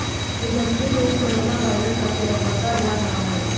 industry में corona virus का कहर बढ़ता जा रहा है